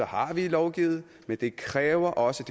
har vi lovgivet men det kræver også